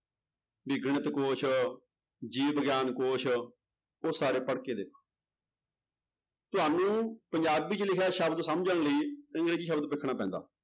ਵੀ ਗਣਿਤ ਕੋਸ਼ ਜੀਵ ਵਿਗਿਆਨ ਕੋਸ਼ ਉਹ ਸਾਰੇ ਪੜ੍ਹਕੇ ਦੇਖੋ ਤੁਹਾਨੂੰ ਪੰਜਾਬੀ ਚ ਲਿਖਿਆ ਸ਼ਬਦ ਸਮਝਣ ਲਈ ਅੰਗਰੇਜ਼ੀ ਸ਼ਬਦ ਵੇਖਣਾ ਪੈਂਦਾ।